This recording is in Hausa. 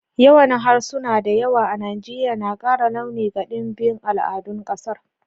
Yawan harsuna da yawa a Najeriya na kara launi ga dimbin al'adun kasar.